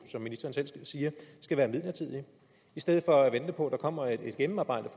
som ministeren selv siger skal være midlertidig i stedet for at vente på at der kommer et gennemarbejdet